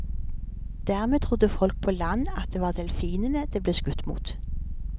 Dermed trodde folk på land at det var delfinene det ble skutt mot.